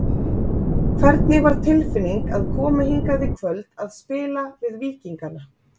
Hvernig var tilfinning að koma hingað í kvöld að spila við Víkingana?